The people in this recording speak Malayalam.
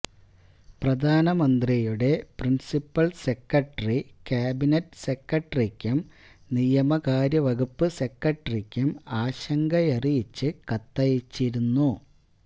പ്രധാനമന്ത്രിയുടെ പ്രിന്സിപ്പല് സെക്രട്ടറി കാബിനറ്റ് സെക്രട്ടറിക്കും നിയമകാര്യവകുപ്പ് സെക്രട്ടറിക്കും ആശങ്കയറിയിച്ച് കത്തയച്ചിരുന്നു